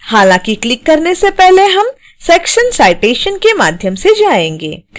हालांकि क्लिक करने से पहले हम section citation के माध्यम से जाएंगे